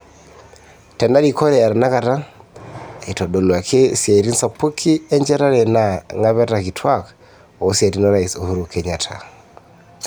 Tenarikore e tenakata, eitodoluaki isiatin sapuki enchetare enaa ngapeta kituak osiatin o rais Uhuru Kenyatta.